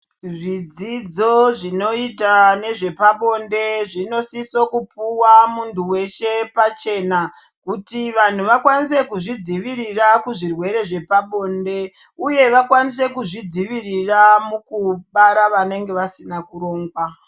Zvidzidzo zvinoita nezvepande zvinosiso kupuwa muntu weshe pachena kuti vanhu vakwanise kuzvidzivirira kuzvirwere zvepabonde uye vakwanise kuzvidzivirira mukubara vanenge vasina kurongwa.